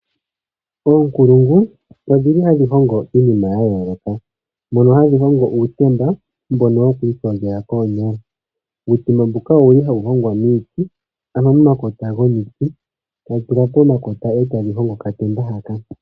Oonkulungu odhi li hadhi hongo iinima ya yooloka mono hadhi hongo uutemba mbono woku iyogela koonyala. Uutemba mbuka owu li hawu hongwa miiti, ano momakota gomiti tadhi tetwa pomakota e ta mu hongwa okatemba haka.